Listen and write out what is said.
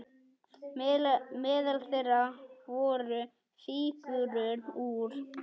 Meðal þeirra voru fígúrur úr